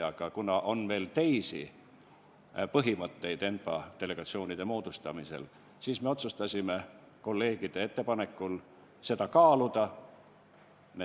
Aga kuna ENPA delegatsiooni moodustamisel on veel teisi põhimõtteid, siis me otsustasime kolleegide ettepanekul seda kaaluda.